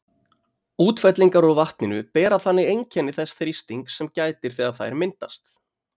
Útfellingar úr vatninu bera þannig einkenni þess þrýstings sem gætir þegar þær myndast.